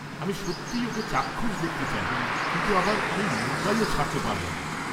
আমি সত্যিই ওকে চাক্ষুষ দেখতে চাই, কিন্তু আবার আমি মুম্বাইও ছাড়তে পারব না।